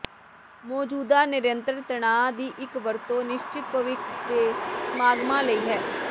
ਮੌਜੂਦਾ ਨਿਰੰਤਰ ਤਣਾਅ ਦੀ ਇੱਕ ਵਰਤੋਂ ਨਿਸ਼ਚਤ ਭਵਿੱਖ ਦੇ ਸਮਾਗਮਾਂ ਲਈ ਹੈ